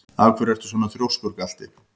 Af hverju ertu svona þrjóskur, Galti?